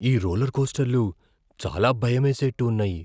ఈ రోలర్కోస్టర్లు చాలా భయమేసేట్టు ఉన్నాయి.